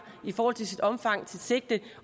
i forhold til sit omfang og sit sigte